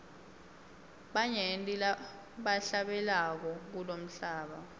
banyenti labahlabelako kulomhlaba